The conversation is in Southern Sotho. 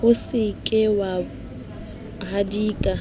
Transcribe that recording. o se ke wa hadika